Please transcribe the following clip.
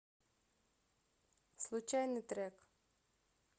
случайный трек